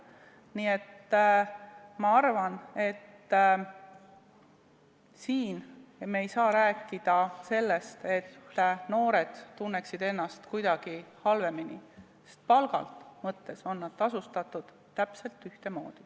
Nii et ma arvan, et me ei saa rääkida sellest, et noored tunneksid ennast kuidagi halvemini, sest palga mõttes on nad tasustatud täpselt ühtemoodi.